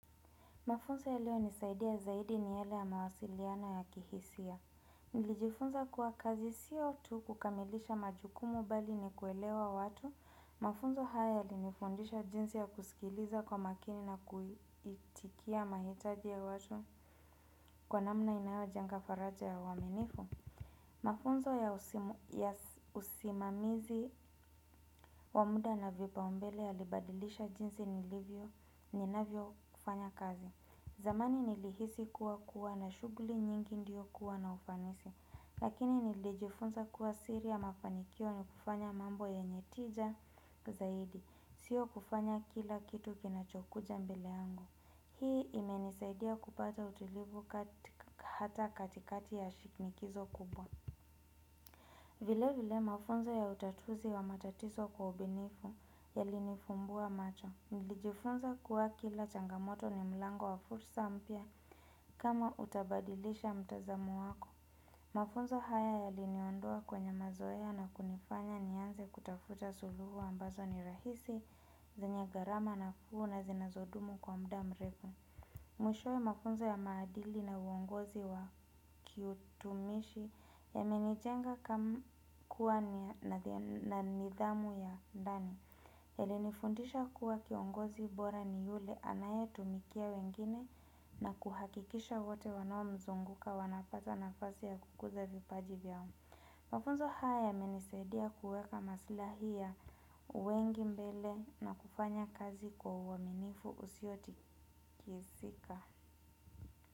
Mafunzo yaliyonisaidia zaidi ni yale ya mawasiliano ya kihisia. Nilijifunza kuwa kazi siyo tu kukamilisha majukumu bali ni kuelewa watu. Mafunzo haya yalinifundisha jinsi ya kusikiliza kwa makini na kuitikia mahitaji ya watu kwa namna inayojenga faraja ya uaminifu. Mafunzo ya usimamizi wa muda na vipaumbele yalibadilisha jinsi nilivyo ninavyofanya kazi. Zamani nilihisi kuwa kuwa na shughuli nyingi ndio kuwa na ufanisi lakini nilijifunza kuwa siri ya mafanikio ni kufanya mambo yenye tija zaidi sio kufanya kila kitu kinachokuja mbele yangu. Hii imenisaidia kupata utulivu hata katikati ya shinikizo kubwa. Vile vile mafunzo ya utatuzi wa matatizo kwa ubunifu yalinifumbua macho. Nilijifunza kuwa kila changamoto ni mlango wa fursa mpya kama utabadilisha mtazamo wako. Mafunzo haya yaliniondoa kwenye mazoea na kunifanya nianze kutafuta suluhu ambazo ni rahisi zenye gharama nafuu na zinazodumu kwa muda mrefu. Mwishowe mafunzo ya maadili na uongozi wa kiutumishi yamenijenga kuwa na nidhamu ya ndani. Yalinifundisha kuwa kiongozi bora ni yule anayetumikia wengine na kuhakikisha wote wanaomzunguka wanafuata nafasi ya kukuza vipaji vyao. Mafunzo haya yamenisaidia kuweka masilahi ya wengi mbele na kufanya kazi kwa uaminifu usiotikisika.